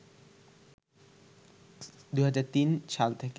২০০৩ সাল থেকে